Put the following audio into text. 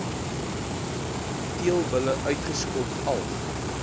teelbulle uitgeskot alg